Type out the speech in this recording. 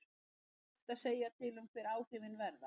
Það er því ekki hægt að segja til um hver áhrifin verða.